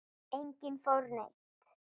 Enginn fór neitt.